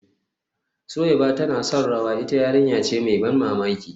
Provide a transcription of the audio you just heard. Suweiba tana son rawa, ita yarinya ce mai ban mamaki